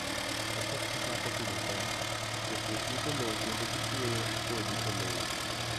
Kapok ochako pidho cham, jopur iko lowo kendo gichuoyo kodhi e lowo.